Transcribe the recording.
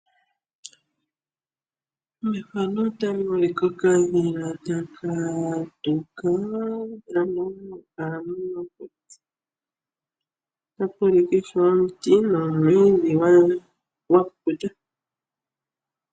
Mefano otamu monika okadhila taka tuka keli mofalama nenge momakuti. Otapu ulike ishewe omuti nomwiidhi gwakukuta.